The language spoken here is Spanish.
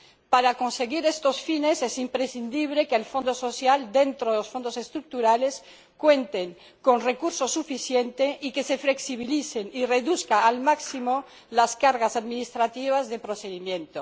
Para conseguir estos fines es imprescindible que el Fondo Social, dentro de los Fondos Estructurales, cuente con recursos suficientes y que se flexibilicen y reduzcan al máximo las cargas administrativas de procedimiento.